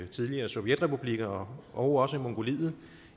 tidligere sovjetrepublikker og også mongoliet